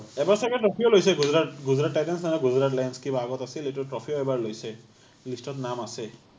এবাৰ চাগে trophy ও লৈছে গুজৰাট গুজৰাট টাইটনছ নহল বা গুজৰাট লায়নছ কিবা আগত আছিল এইটো trophy ও এবাৰ লৈছে, list ত নাম আছে